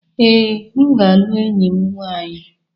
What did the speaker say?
Ee, m ga-alụ enyi m nwanyị.